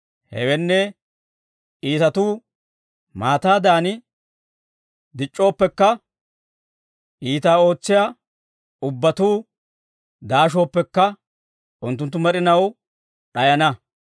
Hewenne, iitatuu maataadan dic'c'ooppekka, iitaa ootsiyaa ubbatuu daashooppekka, unttunttu med'inaw d'ayana.